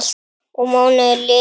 Og mánuðir liðu.